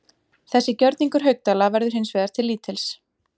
Þessi gjörningur Haukdæla verður hins vegar til lítils.